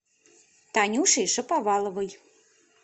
танюшей шаповаловой